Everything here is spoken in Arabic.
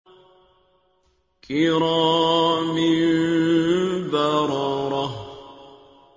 كِرَامٍ بَرَرَةٍ